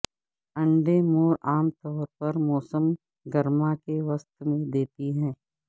انڈے مور عام طور پر موسم گرما کے وسط میں دیتی ہے